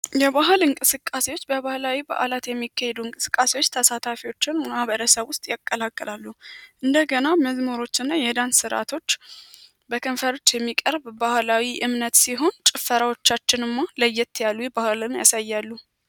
የባህል እንቅስቃሴዎች በባህላዊ በዓላት የሚካሄዱ እንቅስቃሴዎች ተሳታፊዎችን በማህበረሰቡ ውስጥ ያቀላቅላሉ። እንደገና መዝሞሮች እና የሄዳንስ ሥርዓቶች በክንፈርች የሚቀርብ ባህላዊ እምነት ሲሆን ጭፈራዎቻችን እማ ለየት ያሉ ባህልም ያሳያሉ።